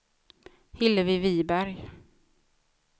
Hillevi Wiberg